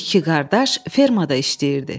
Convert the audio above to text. İki qardaş fermada işləyirdi.